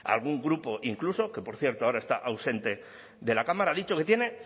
algún grupo incluso que por cierto ahora está ausente de la cámara ha dicho que tiene